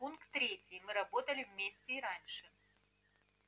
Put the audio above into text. пункт третий мы работали вместе и раньше